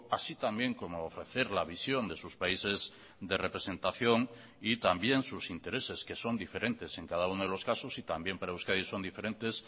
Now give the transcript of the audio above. así también como ofrecer la visión de sus países de representación y también sus intereses que son diferentes en cada uno de los casos y también para euskadi son diferentes